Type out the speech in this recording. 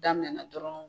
Daminɛna dɔrɔn